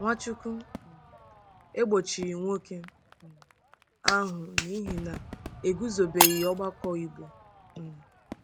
Nwachukwu um egbochighị nwoke um ahụ n'ihi na e guzobebeghị ọgbakọ Igbo um.